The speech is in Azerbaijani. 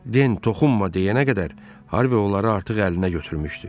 Den toxunma deyənə qədər Harvi onları artıq əlinə götürmüşdü.